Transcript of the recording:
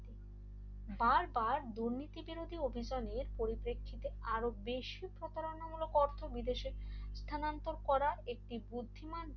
বারবার দুর্নীতিবিরোধী অভিযানের পরিপ্রেক্ষিতে আরো বেশি প্রতারণামূলক অর্থবিদেশে করার একটি বুদ্ধিমান